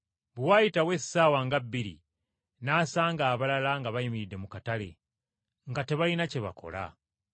“Bwe waayitawo essaawa nga bbiri n’asanga abalala nga bayimiridde mu katale nga tebalina kye bakola,